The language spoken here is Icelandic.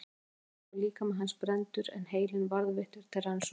Að eigin ósk var líkami hans brenndur en heilinn varðveittur til rannsókna.